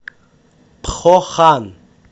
пхохан